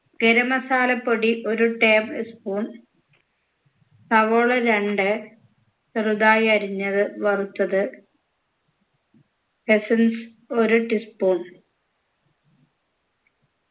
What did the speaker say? garam masala പൊടി ഒരു table spoon സവോള രണ്ട് ചെറുതായി അരിഞ്ഞത് വറുത്തത് essence ഒരു tea spoon